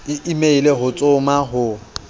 e meile ho tsoma ho